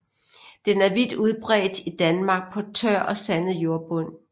Den er vidt udbredt i Danmark på tør og sandet jordbund